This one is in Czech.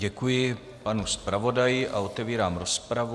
Děkuji panu zpravodaji a otevírám rozpravu.